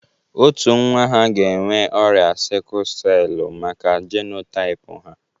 Otu nwa ha ga-enwe ọrịa sikul sell maka jenotaịp ha.